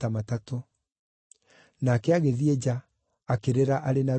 Nake agĩthiĩ nja, akĩrĩra arĩ na ruo rũingĩ.